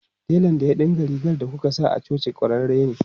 Telan da ya dinka rigar da kuka sa a coci kwararre ne.